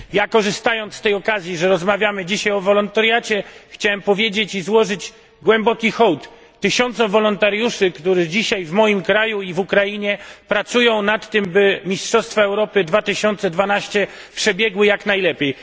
Korzystając z tej okazji, że rozmawiamy dzisiaj o wolontariacie, chciałem powiedzieć i złożyć głęboki hołd tysiącom wolontariuszy, którzy dzisiaj w moim kraju i na Ukrainie pracują nad tym, by Mistrzostwa Europy 2012 przebiegły jak najlepiej.